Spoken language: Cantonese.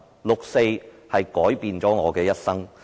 六四改變了我的一生。